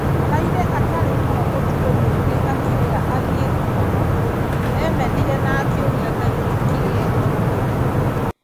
Araire atarĩ toro ũtuko muũngĩ akĩrĩra athie gũkoma. Emenire na akĩũria Ngai nĩ kĩ ekorwo we.